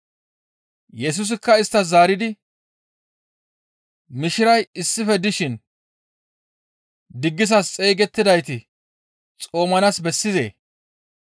Yesusikka isttas zaaridi, «Mishiray issife dishin diggisas xeygettidayti xoomanaas bessizee?